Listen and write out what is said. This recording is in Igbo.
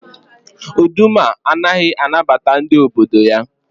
Uduma anaghị anabata ndị obodo ya.